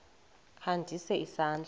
kha ndise isandla